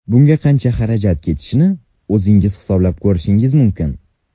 Bunga qancha xarajat ketishini o‘zingiz hisoblab ko‘rishingiz mumkin.